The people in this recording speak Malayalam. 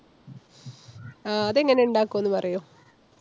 ആഹ് അത് എങ്ങനെ ഉണ്ടാക്കാ ഒന്ന് പറയോ?